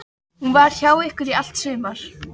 Hún var hjá ykkur í allt sumar.